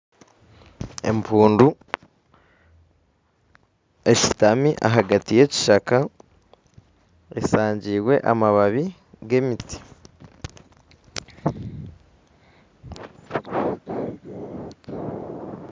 Empundu eshutami ahagati yekishaka eshangirwe amababi gemiti